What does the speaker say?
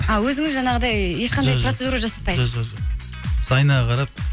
а өзіңіз жаңағыдай ешқандай процедура жасатпайсыз жо жо жоқ біз айнаға қарап